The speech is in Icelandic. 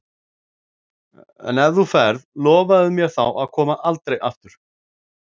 En ef þú ferð, lofaðu mér þá að koma aldrei aftur.